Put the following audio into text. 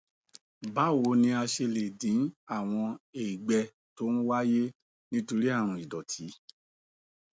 báwo ni a ṣe lè dín àwọn ègbẹ tó ń wáyé nítorí àrùn ìdòtí